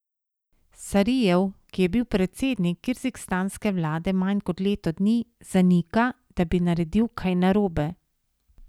Sarijev, ki je bil predsednik kirgizistanske vlade manj kot leto dni, zanika, da bi naredil kaj narobe.